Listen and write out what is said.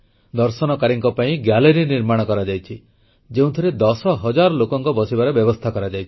ଦର୍ଶନକାରୀଙ୍କ ପାଇଁ ଗ୍ୟାଲେରୀ ନିର୍ମାଣ କରାଯାଇଛି ଯେଉଁଥିରେ 10 ହଜାର ଲୋକଙ୍କ ବସିବାର ବ୍ୟବସ୍ଥା କରାଯାଇଛି